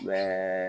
Mɛ